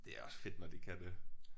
Det også fedt når de kan det